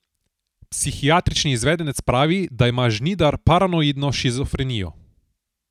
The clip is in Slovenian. Psihiatrični izvedenec pravi, da ima Žnidar paranoidno shizofrenijo.